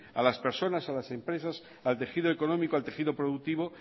a las personas a las empresas al tejido económico al tejido productivo